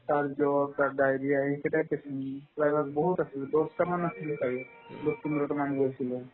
তাৰপিছত তাত diarrhea আহি কিনে আগত বহুত আছিল দহটা মান আছিল ছাগে দহ পোন্ধৰটা মান গৈছিলো